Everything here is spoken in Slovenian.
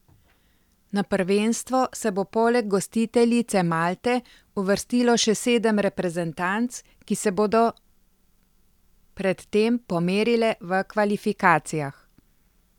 Na prvenstvo se bo poleg gostiteljice Malte uvrstilo še sedem reprezentanc, ki se bodo predtem pomerile v kvalifikacijah.